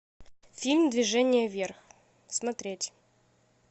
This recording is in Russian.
фильм движение вверх смотреть